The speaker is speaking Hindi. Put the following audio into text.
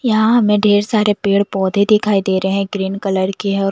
यहाँ हमें ढेर सारे पेड़ पौधे दिखाई दे रहे हैं ग्रीन कलर के हैं और--